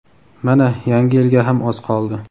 Mana yangi yilga ham oz qoldi.